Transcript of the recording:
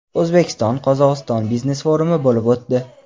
O‘zbekiston – Qozog‘iston biznes-forumi bo‘lib o‘tdi.